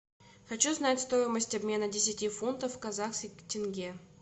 хочу знать стоимость обмена десяти фунтов в казахских тенге